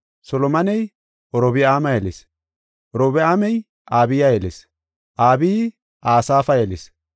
Solomoney Orobi7aama yelis; Orobi7aamey Abiya yelis; Abiyi Asaafa yelis;